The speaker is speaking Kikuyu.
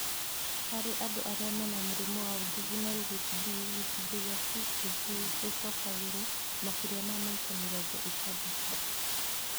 Harĩ andũ arĩa mena mũrimũ wa juvenile HD, gĩcunjĩ kĩa CAG nĩgĩcokagĩrwo makĩria ma maita mĩrongo ĩtandatũ